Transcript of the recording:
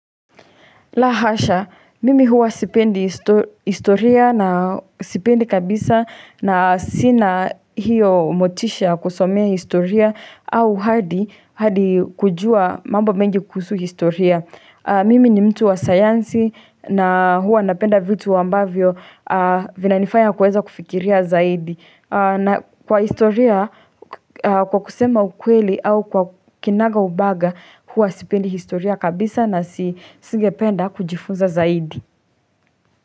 La hasha, mimi huwa sipendi historia na sipendi kabisa na sina hiyo motisha kusomea historia au hadi kujua mambo mengi kuhusu historia. Mimi ni mtu wa sayansi na huwa napenda vitu ambavyo vina nifanya kuweza kufikiria zaidi. Na kwa historia, kwa kusema ukweli au kwa kinaga ubaga, huwa sipendi historia kabisa na singependa kujifunza zaidi.